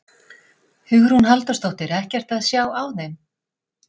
Hugrún Halldórsdóttir: Ekkert að sjá á þeim?